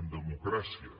en democràcia